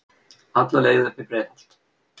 Alla leið upp í Breiðholt.